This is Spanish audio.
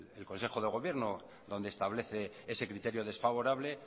el consejo de gobierno donde establece ese criterio desfavorable